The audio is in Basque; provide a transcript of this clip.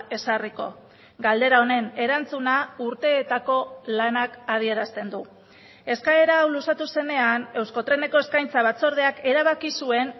ezarriko galdera honen erantzuna urteetako lanak adierazten du eskaera hau luzatu zenean euskotreneko eskaintza batzordeak erabaki zuen